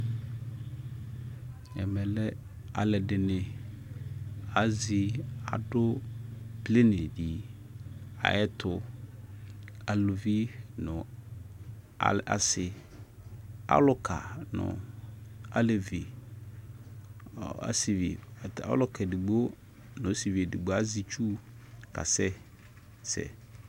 Alʊɛdɩnɩ azɩ nʊ planɩlɩ ayʊ ɛtʊ alʊvɩ nʊ asɩ alʊka nʊ alevi ɔsɩvɩ edigbo nʊ ɔlʊka edigbo azɛ ɩtsʊ kasɛsɛ